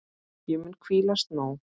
Ég mun hvílast nóg.